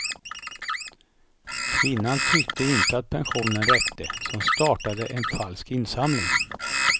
Kvinnan tyckte inte att pensionen räckte, så hon startade en falsk insamling.